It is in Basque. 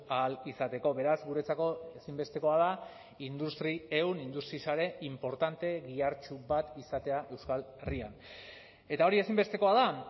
ahal izateko beraz guretzako ezinbestekoa da industri ehun industri sare inportante gihartsu bat izatea euskal herrian eta hori ezinbestekoa da